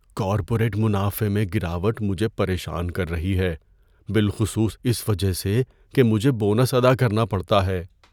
Corporate منافع میں گراوٹ مجھے پریشان کر رہی ہے بالخصوص اس وجہ سے کہ مجھے بونس ادا کرنا پڑتا ہے۔